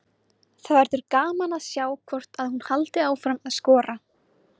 Það verður gaman að sjá hvort að hún haldi áfram að skora.